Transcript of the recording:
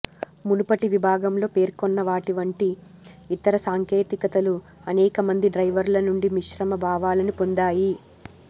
మునుపటి విభాగంలో పేర్కొన్న వాటి వంటి ఇతర సాంకేతికతలు అనేకమంది డ్రైవర్ల నుండి మిశ్రమ భావాలను పొందాయి